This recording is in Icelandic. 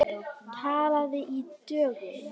Talið í dögum.